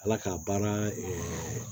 Ala k'a baara